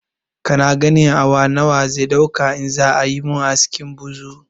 Kana ganin awa nawa zai ɗauka in za ayi mun askin buzur